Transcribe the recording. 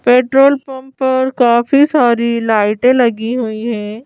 Petrol pump पर काफी सारी लाइटें लगी हुई हैं।